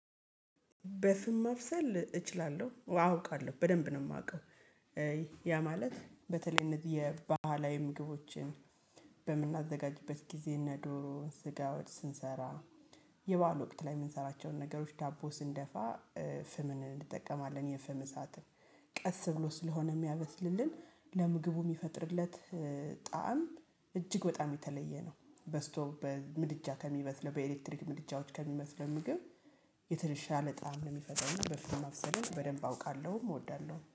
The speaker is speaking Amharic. በፍም ማብሰል እችላለሁ አ አውቃለሁ በደንብ ነው የማውቀው። ያ ማለት በተለይ እነዚህ የባህላዊ ምግቦችን በምናዘጋጅበት ጊዜ እነ ዶሮ ስጋ ወጥ ስንሰራ የበአል ወቅት ላይ የምንሰራቸውን ነገሮች ዳቦ ስንደፋ ፍምን እንጠቀማለን የፍም እሳት ቀስ ብሎ ስለሆነ የሚያብስልልን ለምግቡ የሚፈጥርለት ጣዕም እጅግ በጣም የተለየ ነው። በስቶብ በምድጃ ከሚበስለው በኤሌክትሪክ ምድጃዎች ከሚበስለው ምግብ የተሻለ ጣዕም ነው የሚፈጥረውም በፍም ማብሰልን በደንብ አውቃለሁም እወዳለሁም